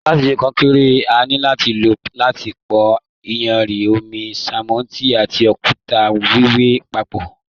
Láti ṣe kọnkéré, a ní lò láti pò iyanrìn, omi, sánmọ́ntì, and òkúta wiwẹ papọ.